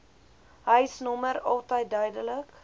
huisnommer altyd duidelik